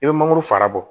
I bɛ mangoro fara bɔ